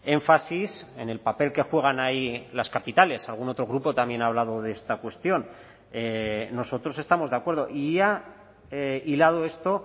énfasis en el papel que juegan ahí las capitales algún otro grupo también ha hablado de esta cuestión nosotros estamos de acuerdo y ya hilado esto